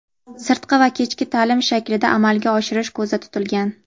sirtqi va kechki ta’lim shaklida amalga oshirish ko‘zda tutilgan.